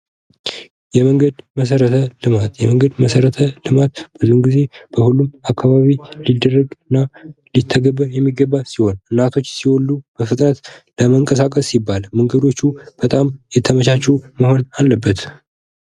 የመንገድ መሰረተ ልማት የመንገድ መሰረተ ልማት ብዙ ጊዜ በሁሉም አካባቢ የሚደረግና ሊተገበር የሚገባ ሲሆን እናቶች ሲወልዱ በፍጥነት ለመንቀሳቀስ ሲባል መንገዶቹ የተመቻችሁ መሆን አለበት ::